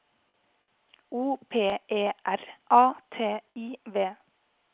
O P E R A T I V